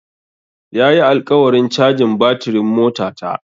Ya yi alƙawarin cajin batirin motata.